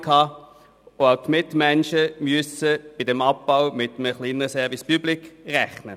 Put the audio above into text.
Auch die Mitmenschen müssen bei diesem Abbau mit einem kleineren Service public rechnen.